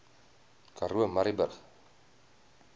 karoo murrayburg